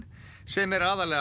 sem er aðallega